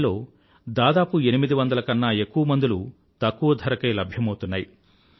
వాటిల్లో దాదాపు 800 కన్నా ఎక్కువ మందులు తక్కువ ధరకే లభ్యమౌతున్నాయి